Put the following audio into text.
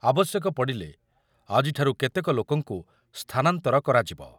ଆବଶ୍ୟକ ପଡିଲେ ଆଜିଠାରୁ କେତେକ ଲୋକଙ୍କୁ ସ୍ଥାନାନ୍ତର କରାଯିବ ।